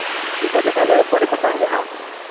ঠিক আছে তাহলে পরে কথা হবে হ্যাঁ